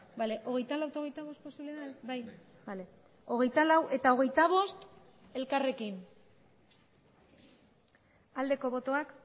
hogeita laugarrena eta hogeita bostgarrena ebazpenak aldeko botoak